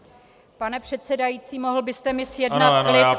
Pane předsedající, mohl byste mi zjednat klid?